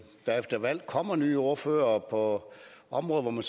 der efter valg kommer nye ordførere på områder hvor man